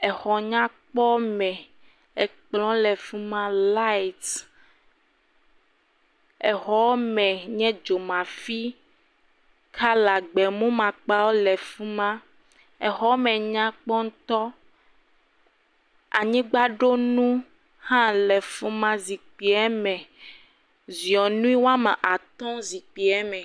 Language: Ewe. exɔnyakpɔme, ekplɔ̃ le fima layit, exɔame nye dzomafi kala gbe mumu makpa le fima, exɔame nyakpɔ ŋutɔ, anyigba ɖo nu hã le afima, zikpuia me ziɔnui ame atɔ̃ zikpuieme.